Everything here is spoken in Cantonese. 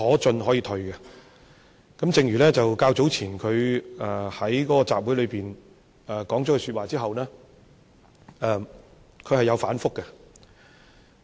正如早前他在那個集會裏面說了這句說話後，他是有反覆。